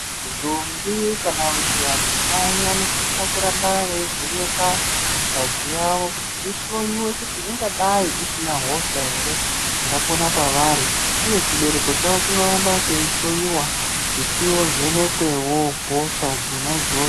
Ntombi kana kuti vadzimai vanosisa kuramba veivhenekwa ngazi yavo kuti ihloyiwe kuti ingadai isina hosha here ingapona pavari, uye chibereko chavo chinoramba cheyihloyiwa kuti chivhenekwewo hosha dzona idzodzo.